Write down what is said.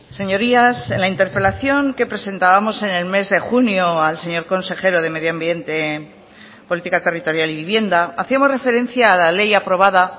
señorías en la interpelación que presentábamos en el mes de junio al señor consejero de medioambiente política territorial y vivienda hacíamos referencia a la ley aprobada